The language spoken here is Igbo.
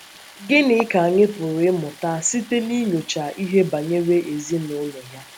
Gịnị ka anyị pụrụ ịmụta site n’inyocha ihe banyere ezinụlọ ya?